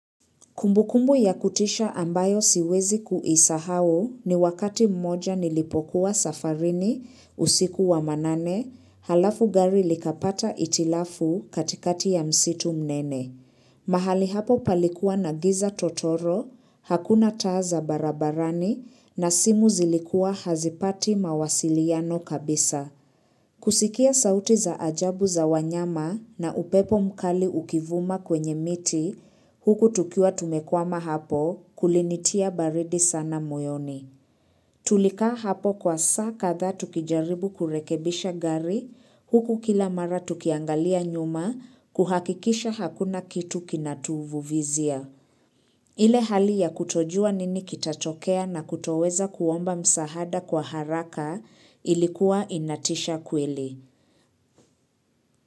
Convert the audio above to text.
Kumbukumbu ya kutisha ambayo siwezi kuisahau ni wakati mmoja nilipokuwa safarini usiku wa manane, alafu gari likapata hitilafu katikati ya msitu mnene. Mahali hapo palikuwa na giza totoro, hakuna taa za barabarani na simu zilikuwa hazipati mawasiliano kabisa. Kusikia sauti za ajabu za wanyama na upepo mkali ukivuma kwenye miti, huku tukiwa tumekwama hapo kulinitia baridi sana moyoni. Tulikaa hapo kwa saa kadhaa tukijaribu kurekebisha gari, huku kila mara tukiangalia nyuma kuhakikisha hakuna kitu kinatuvuvizia. Ile hali ya kutojua nini kitatokea na kutoweza kuomba msahada kwa haraka ilikuwa inatisha kweli.